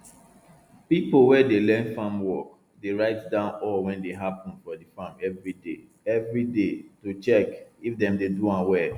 people wey dey learn farm work dey write down all wey dey happun for di farm everyday everyday to check if dem dey do am well